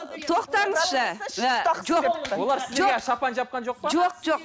тоқтаңызшы ы жоқ олар сіздерге шапан жапқан жоқ па жоқ жоқ